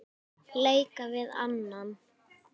leika við annan